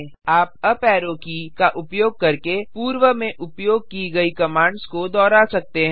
आप up arrow की का उपयोग करके पूर्व में उपयोग की गई कमांड्स को दोहरा सकते हैं